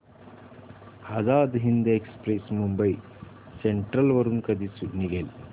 Azad Hind express Mumbai central वरून कधी निघेल